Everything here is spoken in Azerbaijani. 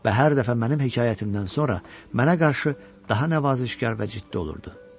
Və hər dəfə mənim hekayətimdən sonra mənə qarşı daha nəvazişkar və ciddi olurdu.